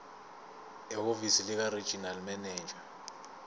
ehhovisi likaregional manager